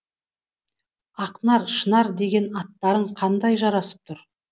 ақнар шынар деген аттарың қандай жарасып тұр